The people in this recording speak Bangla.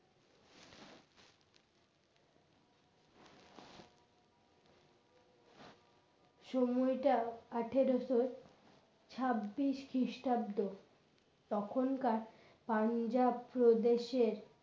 সময়টা আঠারোশো ছাব্বিশ খ্রিস্টাব্দ তখনকার পাঞ্জাব প্রদেশের